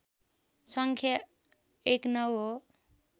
सङ्ख्या १९ हो